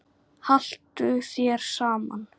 Haltu þér saman